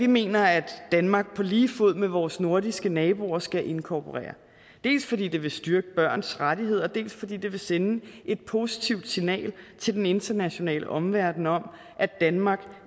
mener at danmark på lige fod med vores nordiske naboer skal inkorporere dels fordi det vil styrke børns rettigheder og dels fordi det vil sende et positivt signal til den internationale omverden om at danmark